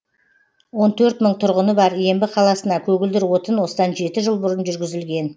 он төрт мың тұрғыны бар ембі қаласына көгілдір отын осыдан жеті жыл бұрын жүргізілген